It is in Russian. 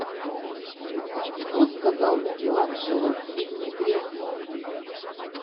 что сказал микеланджело в фильме грех